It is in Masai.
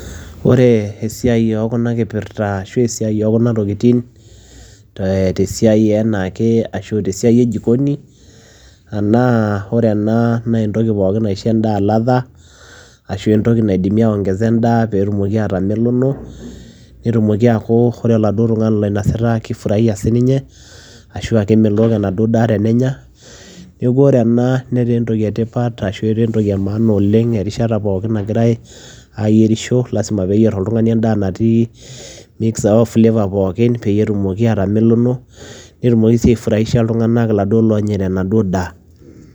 Ore esiai oo kuna kipirta ashu esiai oo kuna tokitin tee te siai enaa ake ashu te siai e jikoni, naa ore ena nee entoki pookin naisho endaa ladha ashu entoki naidimi aiongeza endaa peetumoki atamelono, netumoki aaku kore oladuo tung'ani loinasita kifuraia sininye ashu aa kemelok enaduo daa tenenya. Neeku ore ena netaa entoki e tipat ashu etaa entoki e maana oleng' erishata pookin nagirai aayierisho lazima peeyier oltung'ani endaa natii mix oo flavor pookin peyie etumoki atamelono netumoki sii aifuraisha iltung'anak laduo loonyaita enaduo daa.